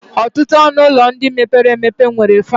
Ọtụtụ ọnụ ụlọ ndị mepere emepe nwere fan.